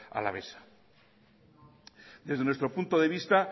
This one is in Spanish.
alavesa desde nuestro punto de vista